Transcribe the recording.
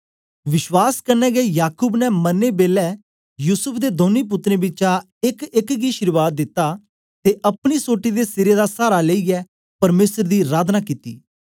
विश्वास कन्ने गै याकूब ने मरदे बेलै युसूफ दे दौनीं पुत्रें बिचा एकएक गी अशीर्वाद दित्ती ते अपनी सोटी दे सिरे दा सहारा लेईयै परमेसर दी अराधना कित्ती